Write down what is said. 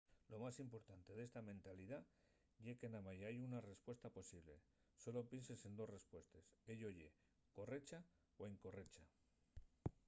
lo más importante d'esta mentalidá ye que namái hai una respuesta posible sólo pienses en dos respuestes ello ye correcha o incorrecha